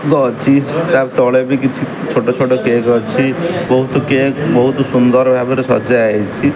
ତା ତଳେ ବି କିଛି ଛୋଟ ଛୋଟ କେକ୍ ଅଛି ବହୁତ କେକ୍ ବହୁତ ସୁନ୍ଦର ଭାବରେ ସଜା ହୋଇଛି।